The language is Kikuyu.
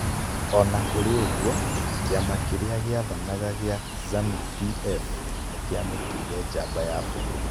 O na kũrĩ ũguo, kĩama kĩrĩa gĩathanaga gĩa Zanu-PF nĩ kĩamũtuire njamba ya bũrũri.